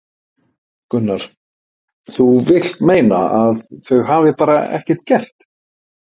Gunnar: Þú vilt meina að þau hafi bara ekkert gert?